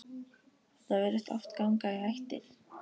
Þetta virðist oft ganga í ættir.